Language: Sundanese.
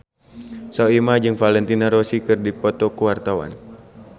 Soimah jeung Valentino Rossi keur dipoto ku wartawan